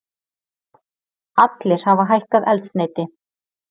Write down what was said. Allir hafa hækkað eldsneyti